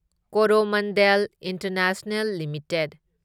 Coromandel International limited